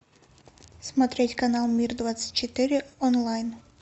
смотреть канал мир двадцать четыре онлайн